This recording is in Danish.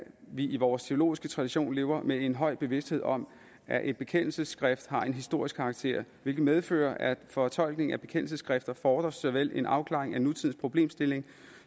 vi i vores teologiske tradition lever med en høj bevidsthed om at et bekendelsesskrift har en historisk karakter hvilket medfører at fortolkningen af bekendelsesskriftet fordrer såvel en afklaring af nutidens problemstilling